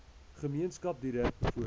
gemeenskap direk bevoordeel